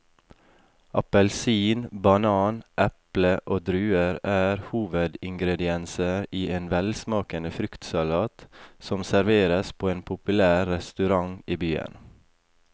Appelsin, banan, eple og druer er hovedingredienser i en velsmakende fruktsalat som serveres på en populær restaurant i byen.